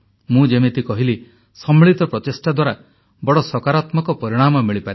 ମୁଁ ଯେମିତି କହିଲି ସମ୍ମିଳିତ ପ୍ରଚେଷ୍ଟା ଦ୍ୱାରା ବଡ଼ ସକାରାତ୍ମକ ପରିଣାମ ମିଳିପାରେ